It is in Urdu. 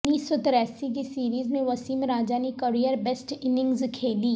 انیس سو تراسی کی سیریز میں وسیم راجہ نے کیریئر بیسٹ اننگز کھیلیں